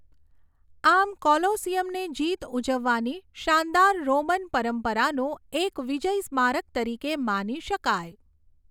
આમ કોલોસીયમને જીત ઉજવવાની શાનદાર રોમન પરંપરાનું એક વિજય સ્મારક તરીકે માની શકાય.